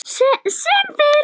Sem fyrst.